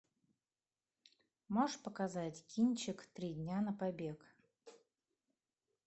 можешь показать кинчик три дня на побег